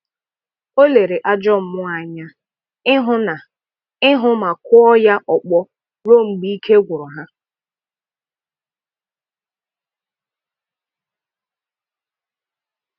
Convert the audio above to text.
ọ lere ajọ mmụọ anya ihụ na ihụ ma kụọ ya ọkpọ ruo mgbe ike agwụrụ ha.